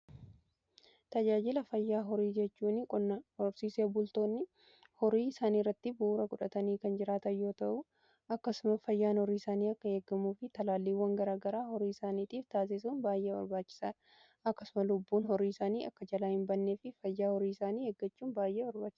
Tajaajila fayyaa horii jechuun horsiisee bultoonni horii isaanii irratti bu'uura godhatanii kan jiraatan yoo ta'u akkasuma fayyaan horii isaanii akka eegamuu fi talaalliiwwan garagaraa horii isaaniitiif taasisuun baay'ee barbaachisaadha. Akkasuma lubbuun horii isaanii akka jalaa hin bannee fi fayyaa horii isaanii eeggachuun baay'ee barbaachisaadha.